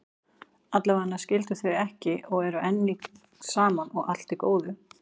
Allavega skildu þau ekki og eru enn saman, og allt í góðu.